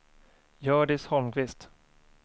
Hjördis Holmqvist